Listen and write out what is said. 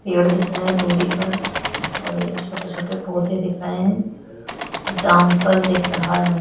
पेड़ दिख रहा है दूरी पर और एक छोटे-छोटे पौधे देख रहै हैं जाम फल दिख रहा है।